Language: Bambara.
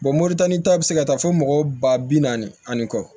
moritani ta bi se ka taa fɔ mɔgɔ ba bi naani ani kɔ